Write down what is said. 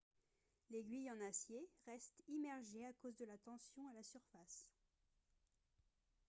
l'aiguille en acier reste immergée à cause de la tension à la surface